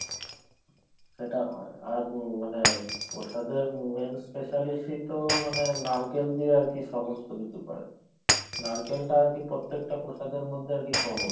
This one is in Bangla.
সেটা হয় আর মানে প্রসাদের main specialist তো মানে নারকেল দিয়ে আরকি সমস্ত কিছু করে নারকেলটা আরকি প্রত্যেকটা প্রসাদের মধ্যে আরকি common